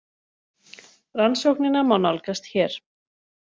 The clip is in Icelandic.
Rannsóknina má nálgast hér